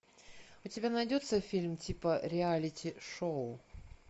у тебя найдется фильм типа реалити шоу